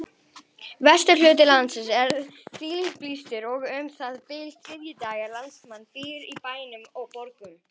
Jafnframt verði unnið að lækkun raunvaxta